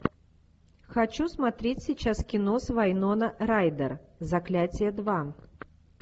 хочу смотреть сейчас кино с вайнона райдер заклятие два